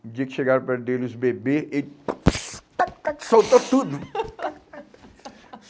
No dia que chegaram para ele os bebê, ele soltou tudo.